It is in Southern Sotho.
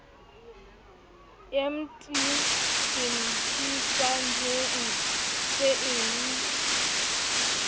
emte se fpsajetsemg se emg